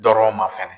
Dɔrɔn ma fɛnɛ